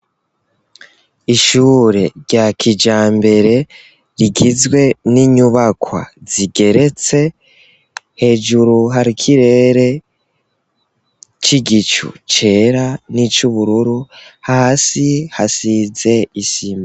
Ishure rya kijambere, rigizwe n'inyubakwa zigeretse, hejuru har'ikirere k'igicu cera n'ic'ubururu, hasi hasize isima.